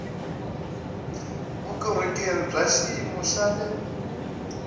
vukorhokeri bya xiyimo xa le